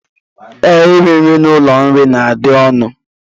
Ee, iri nri n'ụlọoriri na-adị ọnụ